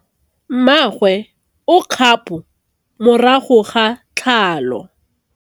Mmagwe o kgapô morago ga tlhalô.